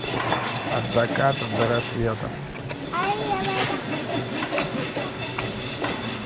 от заката до рассвета